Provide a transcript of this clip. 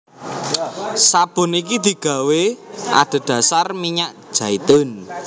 Sabun iki digawé adhedhasar minyak jaitun